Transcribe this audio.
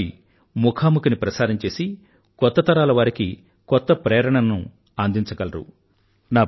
అలాంటివారి ముఖాముఖిని ప్రసారం చేసి కొత్త తరాలవారికి కొత్త ప్రేరణను అందించగలరు